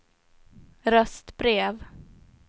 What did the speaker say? röstbrev